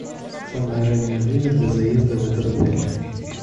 самое раннее время для заезда в этот отель